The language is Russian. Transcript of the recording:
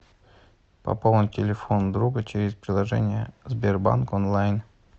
пополнить телефон друга через приложение сбербанк онлайн